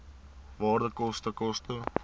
waarde koste koste